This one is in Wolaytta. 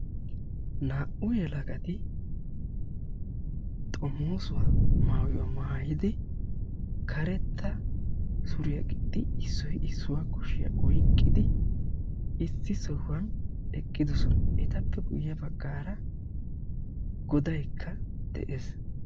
Naa''u yelagati xomoosuwa maayuwa maayidi karetta suriya gixxidi issoy issuwa kushiya oykkidi issi sohuwan eqqidosona. Etappe guyye baggaara godaykka de'ees.